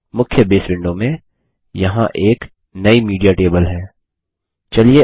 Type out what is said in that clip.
मुख्य base window में यहाँ एक नई मीडिया टेबल है